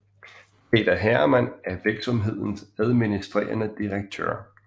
Peter Hermann er virksomhedens administrerende direktør